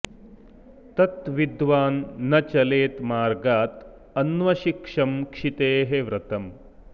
तत् विद्वान् न चलेत् मार्गात् अन्वशिक्षं क्षितेः व्रतम्